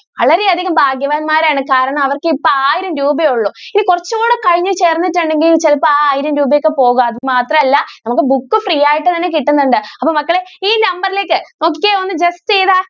വളരെ അധികം ഭാഗ്യവാൻമാരാണ് കാരണം അവർക്ക് ഇപ്പൊ ആയിരം രൂപയെ ഒള്ളു. ഇനി കുറച്ച് കൂടി കഴിഞ്ഞു ചേർന്നിട്ടുണ്ടെങ്കിൽ ചെലപ്പോ ആ ആയിരം രൂപയൊക്കെ പോകാം, മാത്രം അല്ല നമുക്ക് ബുക്ക് ഫ്രീ ആയിട്ട് തന്നെ കിട്ടുന്നുണ്ട്. അപ്പോ മക്കളെ ഈ number ലേക്ക് ഒക്കെ ഒന്ന്